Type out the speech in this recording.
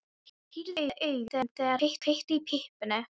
Hann pírði augun, þegar hann kveikti í pípunni.